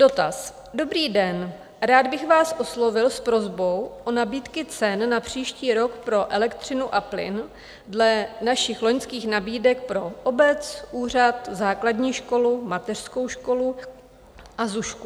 Dotaz: Dobrý den, rád bych vás oslovil s prosbou o nabídky cen na příští rok pro elektřinu a plyn dle našich loňských nabídek pro obec, úřad, základní školu, mateřskou školu a zušku.